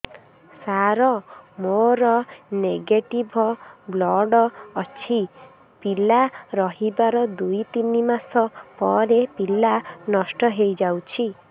ସାର ମୋର negative blood ଅଛି ପିଲା ରହିବାର ଦୁଇ ତିନି ମାସ ପରେ ପିଲା ନଷ୍ଟ ହେଇ ଯାଉଛି